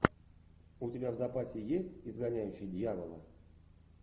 у тебя в запасе есть изгоняющий дьявола